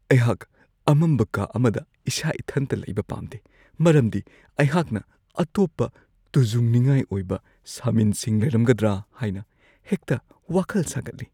ꯑꯩꯍꯥꯛ ꯑꯃꯝꯕ ꯀꯥ ꯑꯃꯗ ꯏꯁꯥ-ꯏꯊꯟꯇ ꯂꯩꯕ ꯄꯥꯝꯗꯦ ꯃꯔꯝꯗꯤ ꯑꯩꯍꯥꯛꯅ ꯑꯇꯣꯞꯄ ꯇꯨꯖꯨꯡꯅꯤꯡꯉꯥꯏ ꯑꯣꯏꯕ ꯁꯃꯤꯟꯁꯤꯡ ꯂꯩꯔꯝꯒꯗ꯭ꯔꯥ ꯍꯥꯏꯅ ꯍꯦꯛꯇ ꯋꯥꯈꯜ ꯁꯥꯒꯠꯂꯤ ꯫